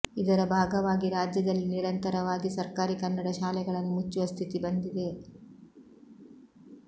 ಇದರ ಭಾಗವಾಗಿ ರಾಜ್ಯದಲ್ಲಿ ನಿರಂತರವಾಗಿ ಸರ್ಕಾರಿ ಕನ್ನಡ ಶಾಲೆಗಳನ್ನು ಮುಚ್ಚುವ ಸ್ಥಿತಿ ಬಂದಿದೆ